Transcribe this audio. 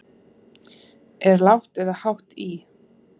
Er lágt eða hátt í?